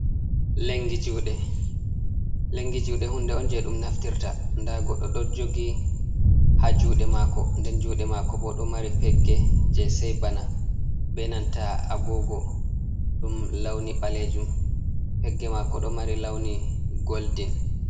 Lengi juɗe hunde on je ɗum naftirta, nda goddo ɗo jogi ha juɗe mako, nden juɗe mako bo ɗo mari pegge je sei bana, be nanta agogo ɗum lawni ɓalejum, pegge mako ɗo mari lawni goldin.